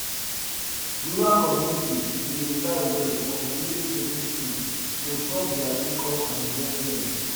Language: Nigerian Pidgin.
rural communities dey rely well on village savings schemes to top dia income and investments